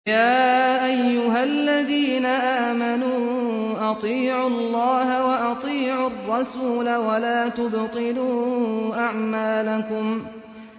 ۞ يَا أَيُّهَا الَّذِينَ آمَنُوا أَطِيعُوا اللَّهَ وَأَطِيعُوا الرَّسُولَ وَلَا تُبْطِلُوا أَعْمَالَكُمْ